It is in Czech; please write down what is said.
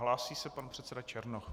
Hlásí se pan předseda Černoch.